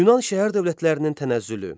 Yunan şəhər dövlətlərinin tənəzzülü.